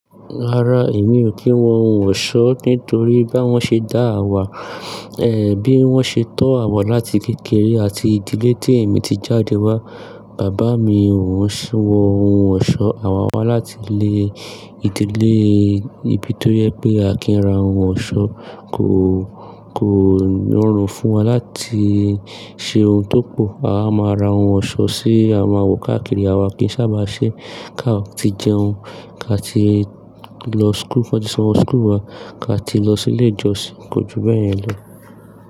Rárá èmi ò kí ń wọ ohun ọ̀ṣọ́ nítorí bá wọ́n ṣe dáà wà, ẹ̀ bí wọ́n ṣe tọ́ à wà láti kékeré àti ìdílé tí èmi ti jáde wá, bàbá mi ò ń ṣí wọ ohun ọ̀ṣọ́, à wà wá láti lé ìdílé níbi tó yẹ pé a kì í ra ohun ọ̀ṣọ́, kò, kò rọrùn fún wa láti ṣe ohun tó pọ̀, à a máa ra ohun ọ̀ṣọ́ ṣé à wà wò káàkiri à wa kì í sábà ṣe ká tí jẹun, ká tí lọ school, kí won tí san owó school wá, ká tí lọ sí ilé ìjọsìn, kò ju bẹeyen lo.